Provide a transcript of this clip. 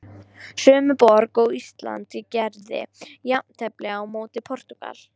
Sömu borg og Ísland gerði jafntefli á móti Portúgal.